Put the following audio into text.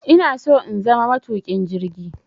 Inaso in zama matuƙin jirgi